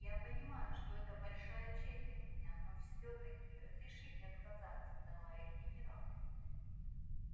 я понимаю что это большая честь для меня но все таки разрешите отказаться товарищ генерал